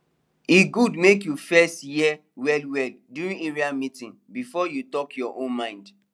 e good make you first hear wellwell during area meeting before you talk your own mind